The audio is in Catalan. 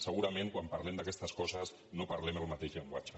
segurament quan parlem d’aquestes coses no parlem el mateix llenguatge